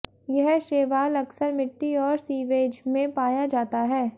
यह शैवाल अक्सर मिट्टी और सीवेज में पाया जाता है